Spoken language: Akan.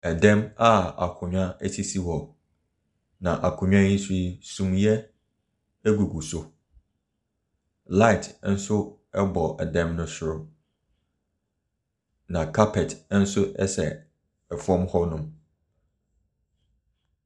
Ɛdɛm a akonwa esisi hɔ na akonnwa yi so yi sumiɛ egugu so. Light ɛnso ɛbɔ ɛdem no soro na carpet nso ɛsɛ ɛfam hɔ nom.